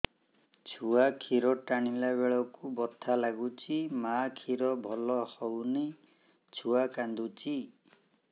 ଛୁଆ ଖିର ଟାଣିଲା ବେଳକୁ ବଥା ଲାଗୁଚି ମା ଖିର ଭଲ ହଉନି ଛୁଆ କାନ୍ଦୁଚି